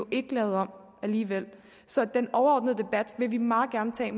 ikke lavet om alligevel så den overordnede debat vil vi meget gerne tage